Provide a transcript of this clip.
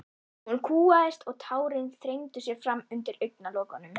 Hún kúgaðist og tárin þrengdu sér fram undir augnalokunum.